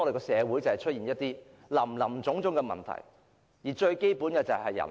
社會出現林林總總的問題，根源是人口。